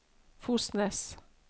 Fosnes